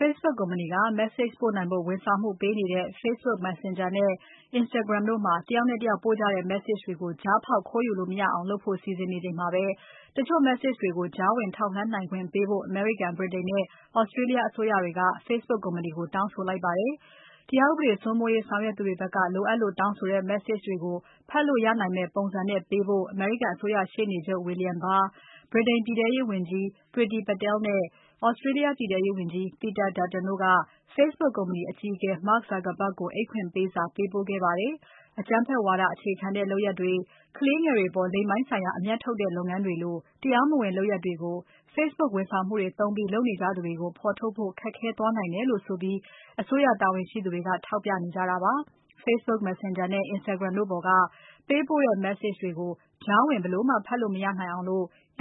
Facebook ကုမ္ပဏီက Message ပို့နိုင်ဖို့ ဝန်ဆောင်မှုပေးနေတဲ့ Facebook Messenger နဲ့ Instagram တို့မှာတယောက်နဲ့ တယောက်ပို့ကြတဲ့ Message တွေကို ကြားဖေါက်ခိုးယူလို့မရနိုင်အောင် encryption လုပ်ဖို့ စီစဉ်နေချိန်မှာ တချို့ Message တွေကို ကြားဝင်ထောက်လှမ်းနိုင်ခွင့်ပေးဖို့ အမေရိကန်၊ ဗြိတိန်နဲ့ Australia အစိုးရက Facebook ကုမ္ပဏီကို တောင်းဆိုလိုက်ပါတယ်။ တရားဥပဒေစိုးမိုးရေးဆောင်ရွက်သူတွေဖက်က လိုအပ်လို့တောင်းဆိုတဲ့ Message တွေကို ဖတ်လို့ရနိုင်မယ့်ပုံစံနဲ့လုပ်ပေးဖို့ အမေရိကန်အစိုးရရှေ့နေချုပ် William Barr၊ ၊ ဗြိတိန်ပြည်ထဲရေးဝန်ကြီး Priti Patel နဲ့ Australia ပြည်ထဲရေးဝန်ကြီး Peter Dutton တို့က Facebook ကုမ္ပဏီအကြီးအကဲ Mark Zuckerberg ကိုအိတ်ဖွင့်ပေးစာပေးပို့ခဲ့ပါတယ်။ အကြမ်းဖက်ဝါဒ အခြေခံတဲ့လုပ်ရပ်တွေ၊ ကလေးငယ်တွေအပေါ် လိင်ပိုင်းဆိုင်ရာ အမြတ်ထုတ်တဲ့လုပ်ရပ်တွေလို တရားမဝင်လုပ်ရပ်တွေကို Facebook ဝန်ဆောင်မှုတွေ သုံးပြီးလုပ်နေကြသူတွေကို ဖော်ထုတ်ဖို့ ခက်ခဲသွားနိုင်တယ်လို့ဆိုပြီး အစိုးရတာဝန်ရှိသူတွေက ထောက်ပြနေကြတာပါ။ Facebook Messenger နဲ့ Instagram တို့ပေါ်က ပေးပို့တဲ့ Message တွေကို ကြားဝင်ဘယ်လိုမှ ဖတ်လို့မရနိုင်အောင်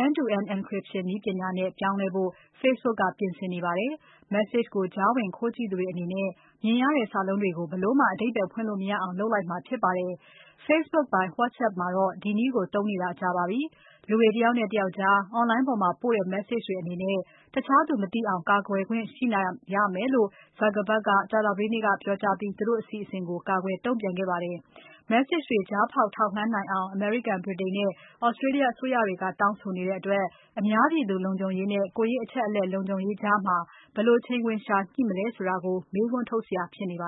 end-to-end encryption နည်းပညာနဲ့ ပြောင်းလဲဖို့ Facebook ကပြင်ဆင်နေပါတယ်။ Message ကိုကြားဝင်ခိုးကြည့်သူတွေအနေနဲ့ မြင်ရတဲ့ စာလုံးတွေကို ဘယ်လိုမှအဓိပ္ပါယ်ဖွင့်လို့ မရအောင် လုပ်လိုက်မှာဖြစ်ပါတယ်။ Facebook ပိုင် WhatsApp မှာတော့ ဒီနည်းကို သုံးနေတာကြာပါပြီ။ လူတွေတယောက်နဲ့ တယောက်ကြား Online ပေါ်မှာပို့တဲ့ Message တွေအနေနဲ့ တခြားသူမသိအောင် ကာကွယ်ခွင့်ရှိရမယ်လို့ Zuckerberg ကကြာသပတေးနေ့က ပြောကြားပြီး သူတို့အစီအစဉ်ကို ကာကွယ်တုံ့ပြန်ခဲ့ပါတယ်။ Message တွေ ကြားဖောက်ထောက်လှမ်းနိုင်အောင် အမေရိကန်၊ ဗြိတိန်နဲ့ Australia ကတောင်းဆိုနေတဲ့အတွက် အများပြည်သူလုံခြုံရေးနဲ့ ကိုယ်ရေးအချက်အလက်လုံခြုံရေးကြား ဘယ်လိုချိန်ခွင်လျှာညှိမလည်းဆိုတာ ဆွေးနွေး မေးခွန်းထုတ်စရာ ဖြစ်နေပါ